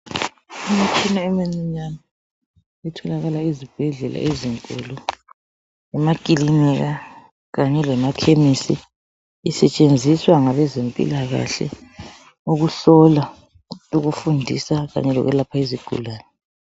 Imtshina eminyane etholakala ezibhedlela ezinkulu, emakilinika, kanye lemakhemisi isetshenziswa ngabezempilakahle ukuhlola, ukufundisa kanye lokwelapha izigulane.